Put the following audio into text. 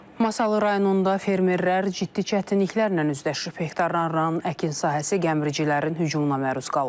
Masallı rayonunda fermerlər ciddi çətinliklərlə üzləşib, hektarlarla əkin sahəsi gəmiricilərin hücumuna məruz qalıb.